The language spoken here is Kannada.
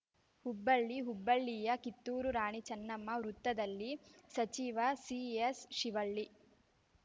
ಹುಬ್ಬಳ್ಳಿ ಹುಬ್ಬಳ್ಳಿಯ ಕಿತ್ತೂರು ರಾಣಿ ಚನ್ನಮ್ಮ ವೃತ್ತದಲ್ಲಿ ಸಚಿವ ಸಿಎಸ್‌ ಶಿವಳ್ಳಿ